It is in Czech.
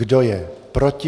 Kdo je proti?